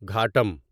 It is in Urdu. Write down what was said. گھاٹم